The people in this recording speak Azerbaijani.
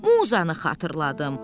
Muzanı xatırladım.